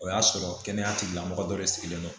O y'a sɔrɔ kɛnɛya tigilamɔgɔ dɔ de sigilen don